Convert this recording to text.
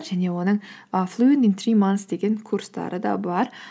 және оның і флуент ин три манс деген курстары да бар